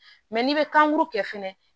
Mɛ n'i bɛ kankuru kɛ fɛnɛ